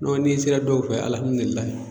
N'o ni n sera dɔw fɛ